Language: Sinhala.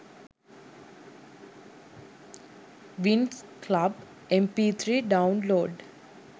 winx club mp3 download